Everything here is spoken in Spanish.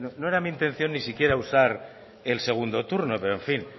no era mi intención ni siquiera usar el segundo turno pero en fin